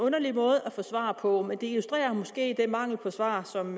underlig måde at få svar på men det illustrerer måske den mangel på svar som